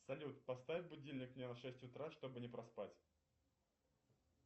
салют поставь будильник мне на шесть утра чтобы не проспать